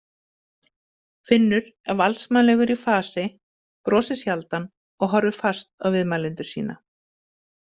Finnur er valdsmannslegur í fasi, brosir sjaldan og horfir fast á viðmælendur sína.